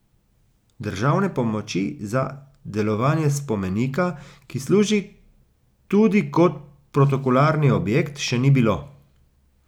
Državne pomoči za delovanje spomenika, ki služi tudi kot protokolarni objekt, še ni bilo.